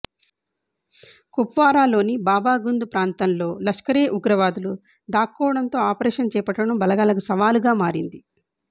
కుప్వారాలోని బాబాగుంద్ ప్రాంతంలో లష్కరే ఉగ్రవాదులు దాక్కోవడంతో ఆపరేషన్ చేపట్టడం బలగాలకు సవాలుగా మారింది